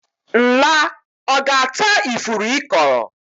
Nla ọ ga-ata ifuru ị kọrọ?